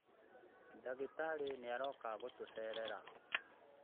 Ndagĩtarĩ nĩaroka gũtũcerera